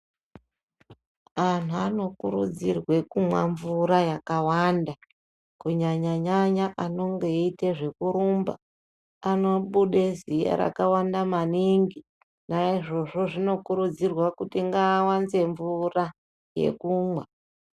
Anhu anokurudzirwa kumwa mvura yakawanda kunyanya nyanya anonge eite zvekurumba anobude ziya rakawanda maningi anokurudzirwe naizvozvo zvino kurudzirwa kuti ngvaawanze mvura yekumwa .